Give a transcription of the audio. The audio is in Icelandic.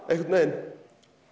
einhvern veginn